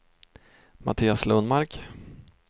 Mattias Lundmark